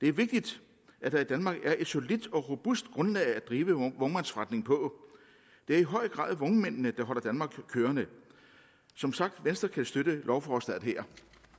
er vigtigt at der i danmark er et solidt og robust grundlag at drive vognmandsforretning på det er i høj grad vognmændene der holder danmark kørende som sagt venstre kan støtte lovforslaget her